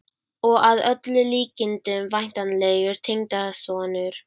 Og að öllum líkindum væntanlegur tengdasonur!